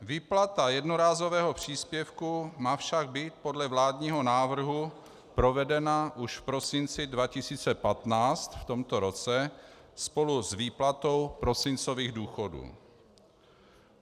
Výplata jednorázového příspěvku má však být podle vládního návrhu provedena už v prosinci 2015, v tomto roce, spolu s výplatou prosincových důchodů.